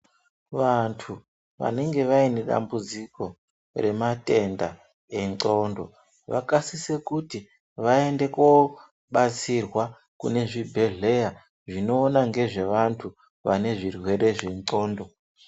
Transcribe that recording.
Vantu vanenge vaine dambuziko rematenda endxondo vakasise kuti vaende kobatsirwa kuzvibhedhleya zvinoona ngezve vantu vane zvirwere zvendxondo.